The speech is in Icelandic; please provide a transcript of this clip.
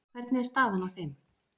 Hvernig er staðan á þeim?